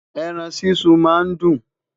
ẹran sísun má n dun